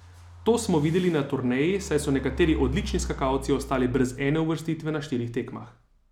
To smo videli na turneji, saj so nekateri odlični skakalci ostali brez ene uvrstitve na štirih tekmah.